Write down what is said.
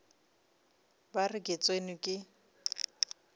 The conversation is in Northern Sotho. ba re ke tsenwe ke